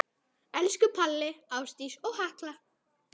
Elsku Palli, Ásdís og Hekla.